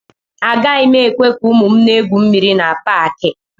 Agaghị m ekwe ka ụmụ m na-egwu mmiri na Paakị